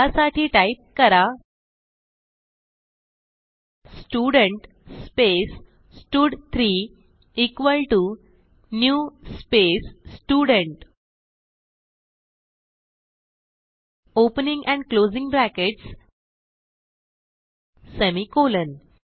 त्यासाठी टाईप करा student space स्टड3 equal to new space student opening and closing brackets semicolon